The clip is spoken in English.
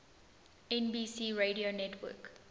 nbc radio network